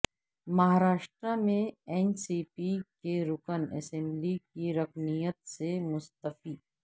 مہاراشٹرا میں N C P کے رکن اسمبلی کی رکنیت سے مستعفی